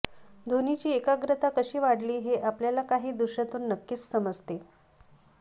धोनीची एकाग्रता कशी वाढली हे आपल्याला काही दृश्यातून नक्कीच समजते